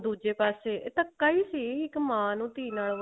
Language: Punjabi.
ਦੁੱਜੇ ਪਾਸੇ ਧੱਕਾ ਹੀ ਸੀ ਇਕ ਮਾਂ ਨੂੰ ਧੀ ਨਾਲ